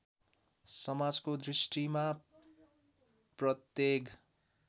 समाजको दृष्टिमा प्रत्येक